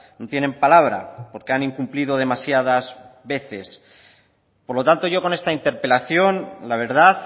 no tienen palabra porque han incumplido demasiadas veces por lo tanto yo con esta interpelación la verdad